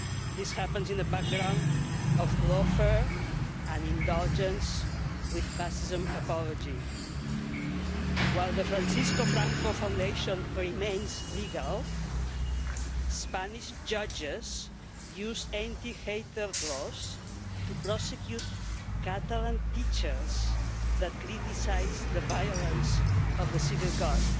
This happens in the background of laughter and indulgence with fascism apologies. While the Francisco Franco Foundation remains legal, Spanish judges use anti hatred laws to prosecute Catalan teachers that criticise the violence of the Civil Guard.